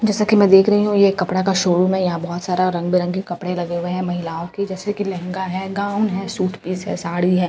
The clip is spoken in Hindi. जैसा कि मैं देख रही हूं ये कपड़ा का शोरूम है यहां बहोत सारा रंग-बिरंगे कपड़े लगे हुए हैं महिलाओं के जैसे कि लेहंगा है गाउन है सूट पीस है साड़ी है।